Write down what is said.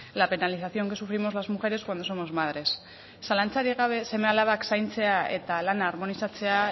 la penalización que sufrimos las mujeres cuando somos madres zalantzarik gabe seme alabak zaintzea eta lana harmonizatzea